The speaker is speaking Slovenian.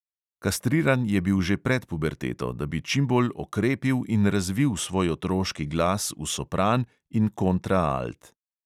Kastriran je bil že pred puberteto, da bi čim bolj okrepil in razvil svoj otroški glas v sopran in v kontraalt.